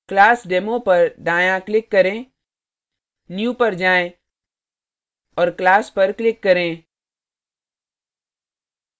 classdemo पर दायाँclick करें new पर जाएँ और class पर click करें